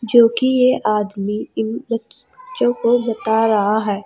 क्योंकि यह आदमी इन ब च्चों को बता रहा है।